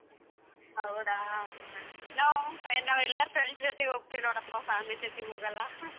ಹೌದಾ ನಾವ್ ನಾವ್ ನಾವೆಲ್ಲರ್ಸ friends ಜೊತೇಗ್ ಹೋಗ್ತಿವ್ ನೋಡಪ್ಪ family ಜೊತೇಗ್ ಹೋಗಲ್ಲ .